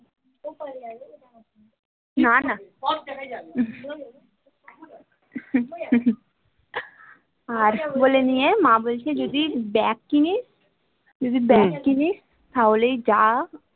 না না আর কি বলে নিয়ে মা বলছে যদি bag কিনিস যদি bag কিনিস তাহলেই যা